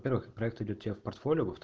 во первых проект идёт в тех портфолио